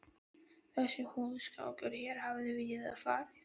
Þessi húsgangur hér hafði víða farið